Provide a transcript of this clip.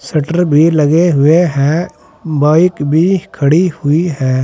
Shutter भी लगे हुए हैं बाइक भी खड़ी हुई है।